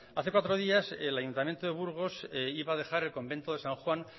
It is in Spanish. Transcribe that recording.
hace cuatro días el ayuntamiento de burgos iba a dejar el convento de san juan